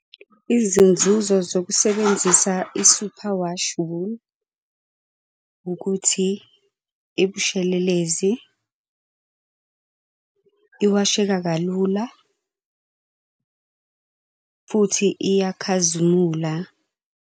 Izinzuzo zokusebenzisa i-superwash wool ukuthi ibushelelezi, iwasheka kalula, futhi iyakhazimula.